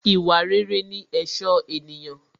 Ìwà rere ní ẹ̀ṣọ́ ènìyàn